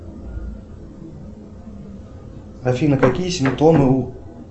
афина какие симптомы у